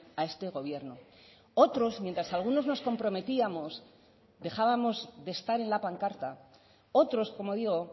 a este gobierno otros mientras algunos nos comprometíamos dejábamos de estar en la pancarta otros como digo